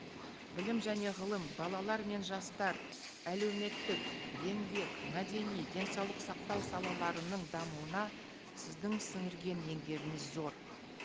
білім және ғылым балалар мен жастар әлеуметтік еңбек мәдени денсаулық сақтау салаларының дамуына сіздің сіңірген еңбегіңіз зор